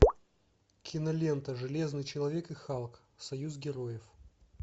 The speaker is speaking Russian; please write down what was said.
кинолента железный человек и халк союз героев